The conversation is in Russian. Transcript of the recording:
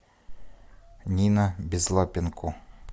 нина безлапенко